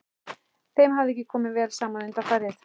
Þeim hafði ekki komið vel saman undanfarið.